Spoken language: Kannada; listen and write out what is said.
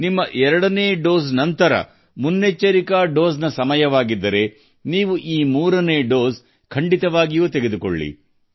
ನಿಮ್ಮ ಎರಡನೇ ಡೋಸ್ ನಂತರ ಮುನ್ನೆಚ್ಚರಿಕೆಯ ಡೋಸ್ಗೆ ಸಮಯವಾಗಿದ್ದರೆ ನೀವು ಈ ಮೂರನೇ ಡೋಸ್ ಹಾಕಿಸಿಕೊಳ್ಳಬೇಕು